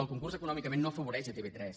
el concurs econòmicament no afavoreix tv3